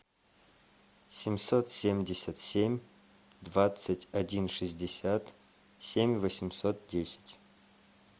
семьсот семьдесят семь двадцать один шестьдесят семь восемьсот десять